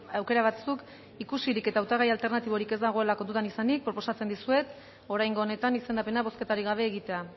aukera batzuk ikusirik eta hautagai alternatiborik ez dagoelako dudan izanik proposatzen dizuet oraingo honetan izendapena bozketarik gabe egitea